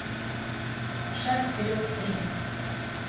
шаг вперед три